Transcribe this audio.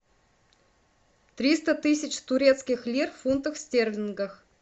триста тысяч турецких лир в фунтах стерлингов